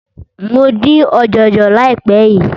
Mo dín ọ̀jọ̀jọ̀ láìpé yìí.